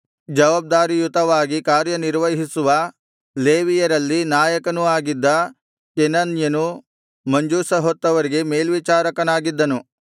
ಜವಾಬ್ದಾರಿಯುತವಾಗಿ ಕಾರ್ಯನಿರ್ವಹಿಸುವ ಲೇವಿಯರಲ್ಲಿ ನಾಯಕನೂ ಆಗಿದ್ದ ಕೆನನ್ಯನು ಮಂಜೂಷ ಹೊತ್ತವರಿಗೆ ಮೇಲ್ವಿಚಾರಕನಾಗಿದ್ದನು